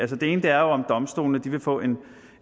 det ene er om domstolene vil få en